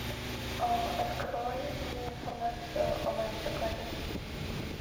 открой мне информацию о моем заказе